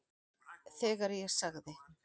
Þegar ég sagði